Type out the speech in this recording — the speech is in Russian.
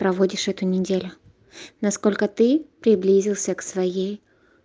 проводишь эту неделю насколько ты приблизился к своей